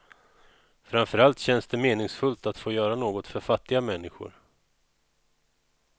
Framför allt känns det meningsfullt att få göra något för fattiga människor.